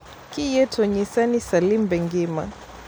Kiyie to nyisa ni Salim be ngima